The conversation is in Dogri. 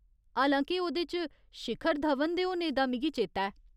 हालांके ओह्‌दे च शिखर धवन दे होने दा मिगी चेता ऐ।